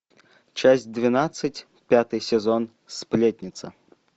часть двенадцать пятый сезон сплетница